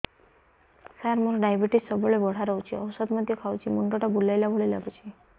ସାର ମୋର ଡାଏବେଟିସ ସବୁବେଳ ବଢ଼ା ରହୁଛି ଔଷଧ ମଧ୍ୟ ଖାଉଛି ମୁଣ୍ଡ ଟା ବୁଲାଇବା ଭଳି ଲାଗୁଛି